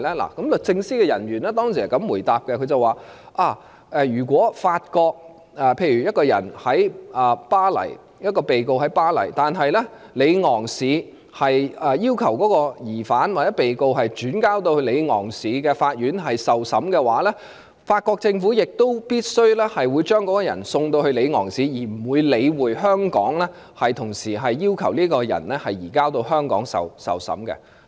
律政司的人員當時是這樣回答：例如一名被告身在法國巴黎，但是法國里昂市要求將該疑犯或被告轉移到里昂市的法院受審，法國政府亦必會將該人士送到里昂市，而不會理會香港同時提出將該人士移交到香港受審的要求。